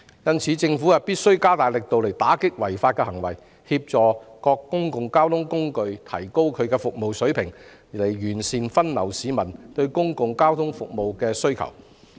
因此，政府必須加大力度打擊這種違法行為，並協助各公共交通工具提高服務水平，以便將市民對公共交通服務的需求妥善分流。